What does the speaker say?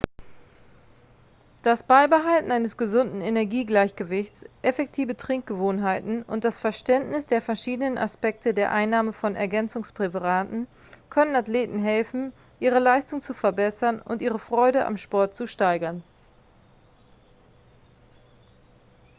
das beibehalten eines gesunden energiegleichgewichts effektive trinkgewohnheiten und das verständnis der verschiedenen aspekte der einnahme von ergänzungspräparaten können athleten helfen ihre leistung zu verbessern und ihre freude am sport zu steigern